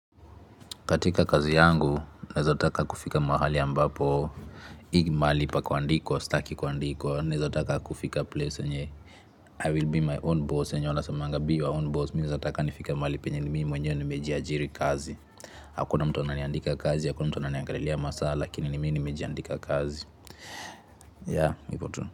Katika kazi yangu, nezataka kufika mahali ambapo, mali pa kuandikwa, staki kuandikwa, nezataka kufika place yenye, I will be my own boss, yenye wanasemanga, be your own boss, mi nezataka nifike mahali penye mi mwenye nimejiajiri kazi, hakuna mtu amiandika kazi, hakuna mtu ananiangalia masa, lakini ni mi nimejiandika kazi, ya, ivo tu.